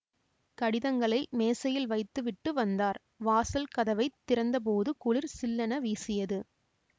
கடிதங்களை மேசையில் வைத்து விட்டு வந்தார் வாசல் கதவை திறந்த போது குளிர் சில்லென வீசியது